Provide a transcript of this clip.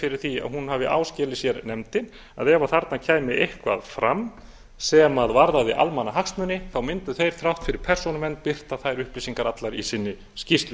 fyrir því að hún hafi áskilið sér nefndin að ef þarna kæmi eitthvað fram sem varðaði almannahagsmuni mundu þeir þrátt fyrir persónuvernd birta þær upplýsingar allar í sinni skýrslu